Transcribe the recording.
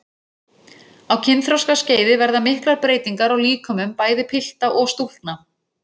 Á kynþroskaskeiði verða miklar breytingar á líkömum bæði pilta og stúlkna.